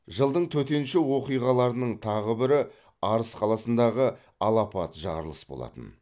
жылдың төтенше оқиғаларының тағы бірі арыс қаласындағы алапат жарылыс болатын